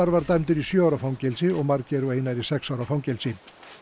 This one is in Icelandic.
var dæmdur í sjö ára fangelsi og Margeir og Einar í sex ára fangelsi